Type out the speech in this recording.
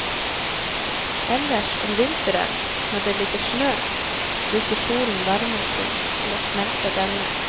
Ellers om vinteren, når det ligger snø, bruker solen varmen sin til å smelte denne.